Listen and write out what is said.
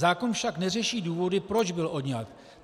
Zákon však neřeší důvody, proč byl odňat.